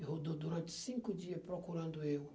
E rodou durante cinco dias procurando eu.